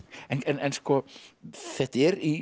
en þetta er í